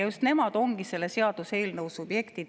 Just nemad ongi selle seaduseelnõu subjekt.